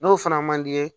N'o fana man di i ye